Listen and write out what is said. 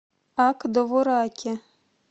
ак довураке